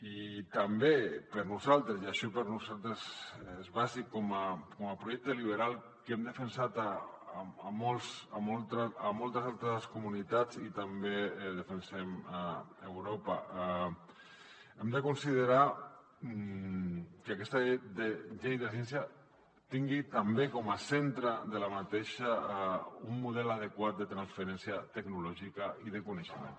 i també per nosaltres i això per nosaltres és bàsic com a projecte liberal que hem defensat a moltes altres comunitats i també defensem a europa hem de considerar que aquesta llei de ciència tingui també com a centre de l’aquesta un model adequat de transferència tecnològica i de coneixement